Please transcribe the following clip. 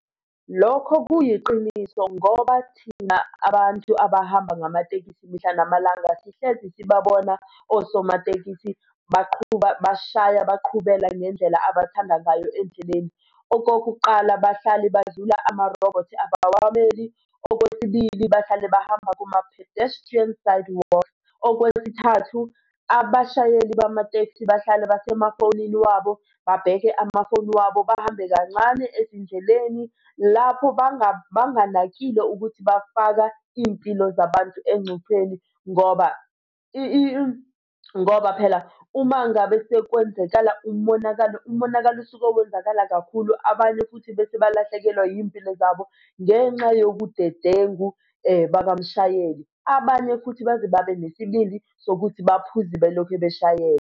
Lokho kuyiqiniso ngoba thina abantu abahamba ngamatekisi mihla namalanga sihlezi sibabona osomatekisi baqhuba bashaya baqhubela ngendlela abathanda ngayo endleleni. Okokuqala, bahlale badlula amarobhothi abawameli. Okwesibili, bahlale bahamba kuma-pedestrians sidewalk. Okwesithathu, abashayeli bamatekisi bahlale basemafonini wabo, babheke amafowni wabo bahambe kancane ezindleleni lapho banganakile ukuthi bafaka iy'mpilo zabantu engcupheni ngoba ngoba phela uma ngabe sekwenzekala umonakalo, umonakalo usuke wenzakala kakhulu, abanye futhi bese balahlekelwa iy'mpilo zabo ngenxa yobudedengu bakamshayeli. Abanye futhi baze babe nesibindi sokuthi baphuze belokhubeshayela.